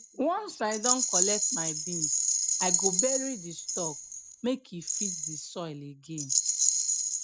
once i don collect my beans i go bury di stalk make e feed the soil again